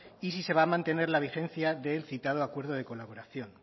y si se va a mantener la vigencia del citado acuerdo de colaboración